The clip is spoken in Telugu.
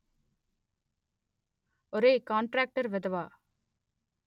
ఒరే కాంట్రాక్టర్ వెధవా